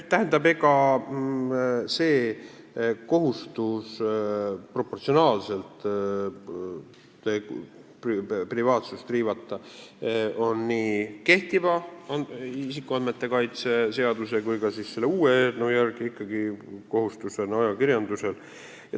Tähendab, see proportsionaalsuse kohustus privaatsuse riivamisel on nii kehtiva isikuandmete kaitse seaduse kui ka eelnõu järgi ikkagi ajakirjandusel.